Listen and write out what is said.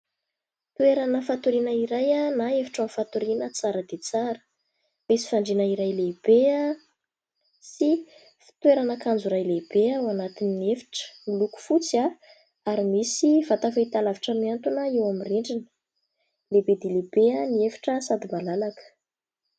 Toerana fatoriana iray a na efitrano fatoriana tsara dia tsara . Misy fandriana iray lehibe a sy fitoerana kanjo iray lehibe ao anatin'ny efitra miloko fotsy a ary misy vatafahitalavitra mihantona eo amin'ny rindrina, lehibe dia lehibe a ny efitra sady malalaka .